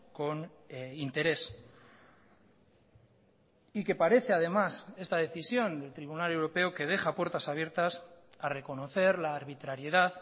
con interés y que parece además esta decisión del tribunal europeo que deja puertas abiertas a reconocer la arbitrariedad